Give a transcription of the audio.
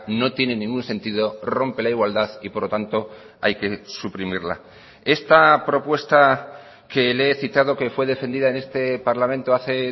no tiene ningún sentido rompe la igualdad y por lo tanto hay que suprimirla esta propuesta que le he citado que fue defendida en este parlamento hace